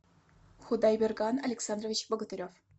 худайберган александрович богатырев